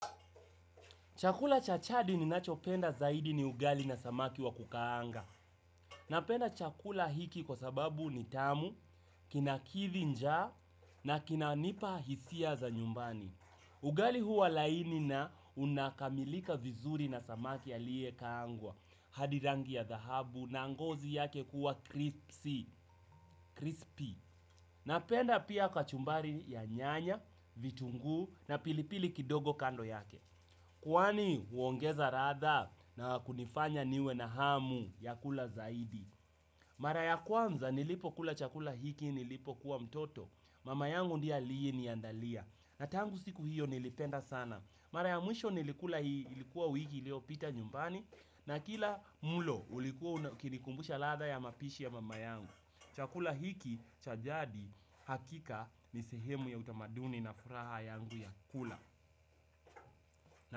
Chakula cha chadi ninachopenda zaidi ni ugali na samaki wa kukaanga. Napenda chakula hiki kwa sababu ni tamu, kinakidhi njaa na kinanipa hisia za nyumbani. Ugali huwa laini na unakamilika vizuri na samaki aliye kaangwa. Hadi rangi ya thahabu na ngozi yake kuwa crispy. Napenda pia kachumbari ya nyanya, vitunguu na pilipili kidogo kando yake. Kwani huongeza ratha na kunifanya niwe na hamu ya kula zaidi. Mara ya kwamza nilipokula chakula hiki nilipokuwa mtoto. Mama yangu ndiye aliyeniandalia. Na tangu siku hiyo nilipenda sana. Mara ya mwisho nilikula ilikuwa wiki iliopita nyumbani. Na kila mulo ulikuwa ukinikumbusha ladha ya mapishi ya mama yangu. Chakula hiki cha jadi hakika ni sehemu ya utamaduni na furaha yangu ya kula.